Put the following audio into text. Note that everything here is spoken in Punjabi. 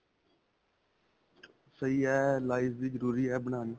ਸਹੀ ਹੈ. life ਵੀ ਜਰੂਰੀ ਹੈ ਬਣਾਉਣੀ.